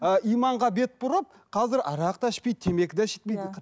ы иманға бет бұрып қазір арақ та ішпейді темекі де шекпейді иә